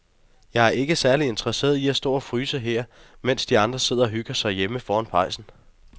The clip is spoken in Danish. Jeg er ikke særlig interesseret i at stå og fryse her, mens de andre sidder og hygger sig derhjemme foran pejsen.